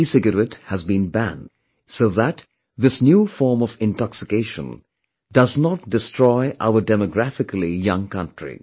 The ecigarette has been banned so that this new form of intoxication does not destroy our demographically young country